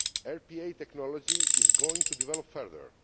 RPA technology is going to develop further.